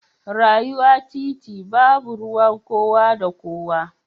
Rayuwa titi babu ruwan kowa da kowa.